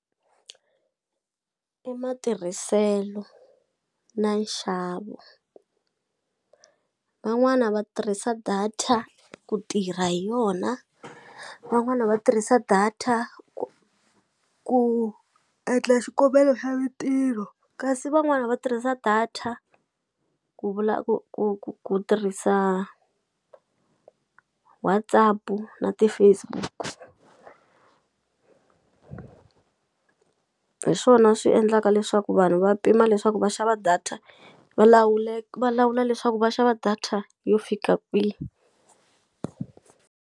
I matirhiselo na nxavo van'wana va tirhisa data ku tirha hi yona van'wana va tirhisa data ku endla xikombelo xa mintirho kasi van'wana va tirhisa data ku vula ku ku ku ku tirhisa WhatsApp na ti-Facebook-u hi swona swi endlaka leswaku vanhu va pima leswaku va xava data va va lawula leswaku va xava data yo fika kwi.